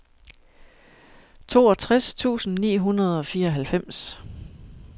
toogtres tusind ni hundrede og fireoghalvfems